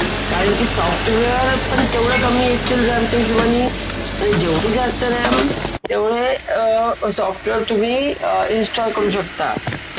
आपण बाजारामध्ये दूध आणायला गेलो.तर तेही दूध आपल्याना आता plastic च्या पिशवीमध्ये देतात.